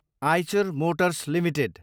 Eicher Motors Ltd